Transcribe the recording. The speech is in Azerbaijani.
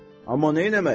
Amma neyləmək?